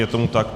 Je tomu tak.